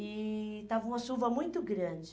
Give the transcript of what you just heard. E estava uma chuva muito grande.